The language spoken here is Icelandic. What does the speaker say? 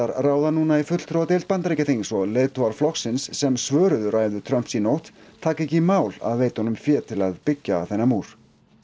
ráða núna í fulltrúadeild Bandaríkjaþings og leiðtogar flokksins sem svöruðu ræðu Trumps í nótt taka ekki í mál að veita honum fé til að byggja þennan múr